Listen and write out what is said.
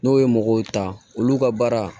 N'o ye mɔgɔw ta olu ka baara